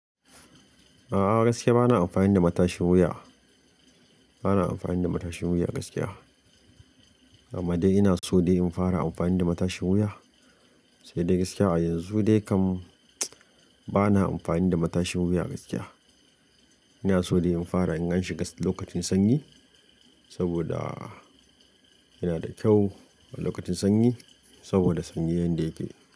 A'a gaskiya bana amfani da matashin wuya. Bana amfani da matashin wuya gaskiya. Amma dai ina so dai in fara amfani da matashin wuya. Sai dai gaskiya a yanzu dai kam bana amfani da matashin wuya gaskiya. Ina so dai in fara in an shiga lokacin sanyi saboda yana da kyau lokacin sanyi saboda sanyin yanda yake.